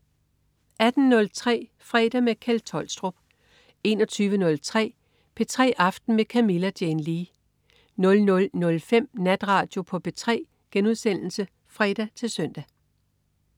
18.03 Fredag med Kjeld Tolstrup 21.03 P3 aften med Camilla Jane Lea 00.05 Natradio på P3* (fre-søn)